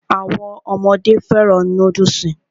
Àwọn ọmọdé fẹ́ràn núdùsì